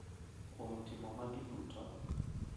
Kuom timo magi duto,